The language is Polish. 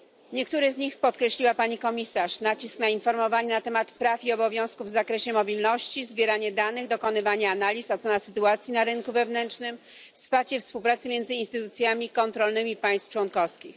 Niektóre z nich podkreśliła pani komisarz nacisk na informowanie na temat praw i obowiązków w zakresie mobilności, zbieranie danych, dokonywanie analiz, ocena sytuacji na rynku wewnętrznym, wsparcie współpracy między instytucjami kontrolnymi państw członkowskich.